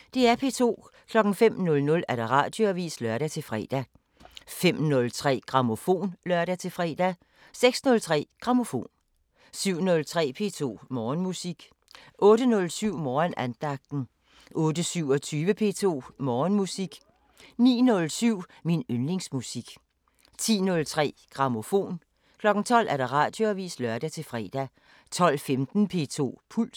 05:00: Radioavisen (lør-fre) 05:03: Grammofon (lør-fre) 06:03: Grammofon 07:03: P2 Morgenmusik 08:07: Morgenandagten 08:27: P2 Morgenmusik 09:07: Min yndlingsmusik 10:03: Grammofon 12:00: Radioavisen (lør-fre) 12:15: P2 Puls